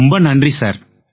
ரொம்ப நன்றி சார்